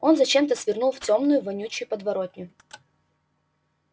он зачем-то свернул в тёмную вонючую подворотню